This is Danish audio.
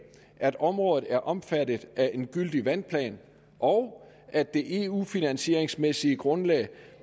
at området er omfattet af en gyldig vandplan og at det eu finansieringsmæssige grundlag